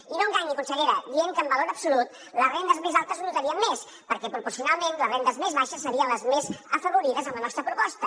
i no enganyi consellera dient que en valor absolut les rendes més altes ho notarien perquè proporcionalment les rendes més baixes serien les més afavorides amb la nostra proposta